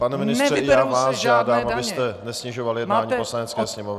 Pane ministře, já vás žádám, abyste nesnižoval jednání Poslanecké sněmovny.